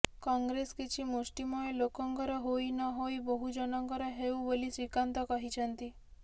କଂଗ୍ରେସ୍ କିଛି ମୁଷ୍ଠିମୟ ଲୋକଙ୍କର ହୋଇ ନହୋଇ ବହୁଜନଙ୍କର ହେଉ ବୋଲୀ ଶ୍ରୀକାନ୍ତ କହିଛନ୍ତି